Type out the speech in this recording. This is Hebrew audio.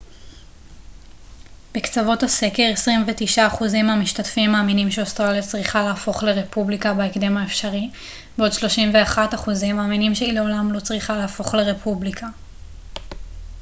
בקצוות הסקר 29% מהמשתתפים מאמינים שאוסטרליה צריכה להפוך לרפובליקה בהקדם האפשרי בעוד 31% מאמינים שהיא לעולם לא צריכה להפוך לרפובליקה